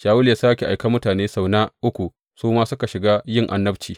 Shawulu ya sāke aiken mutane sau na uku, su kuma suka shiga yin annabci.